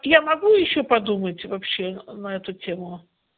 я могу ещё подумать вообще на эту тему